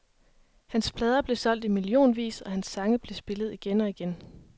Hans plader blev solgt i millionvis og hans sange blev spillet igen og igen.